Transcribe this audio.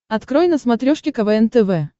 открой на смотрешке квн тв